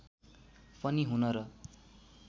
पनि हुन र